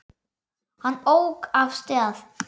Hann ók af stað.